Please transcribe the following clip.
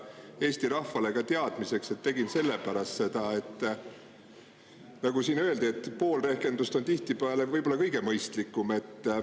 Eesti rahvale teadmiseks, et tegin seda selle pärast, nagu siin öeldi, et pool rehkendust on tihtipeale kõige mõistlikum.